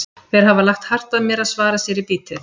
Þeir hafa lagt hart að mér að svara sér í bítið.